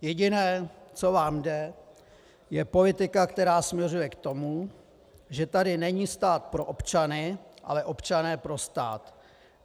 Jediné, co vám jde, je politika, která směřuje k tomu, že tady není stát pro občany, ale občané pro stát.